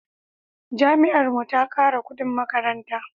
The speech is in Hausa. Jami'ar mu ta kara kudin makaranta